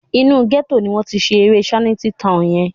Inú gẹ́tò ni wọ́n ti ṣe eré Shanty Town yẹn